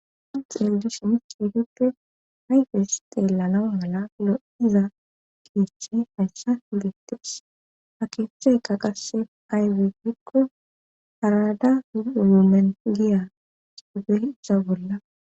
han xeldush mis uduppe ayfes xeellanau mala lo77iza keechche hayssa higettees ha keeheheyka qasse ayfe gikko arada umumen giya ufeisa bolla